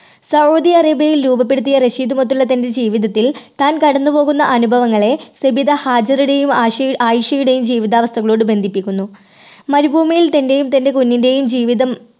Saudi അറേബ്യയിൽ രൂപപ്പെടുത്തിയ റഷീദുമൊത്തുള്ള തൻറെ ജീവിതത്തിൽ താൻ കടന്നുപോകുന്ന അനുഭവങ്ങളെ സബിത ഹാജിറയുടെയും ആയിഷ~ആയിഷയുടെയും ജീവിതാവസ്ഥകളോട് ബന്ധിപ്പിക്കുന്നു. മരുഭൂമിയിൽ തന്റെയും തന്റെ കുഞ്ഞിന്റെയും ജീവിതം